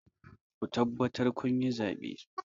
Ku tabbatar kun yi zaɓe!